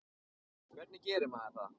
Hvernig gerir maður það?